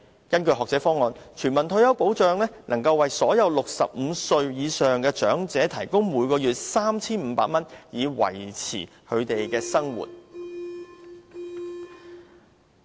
根據學者方案，全民退休保障能夠為所有65歲以上的長者提供每月 3,500 元，以維持他們的生活。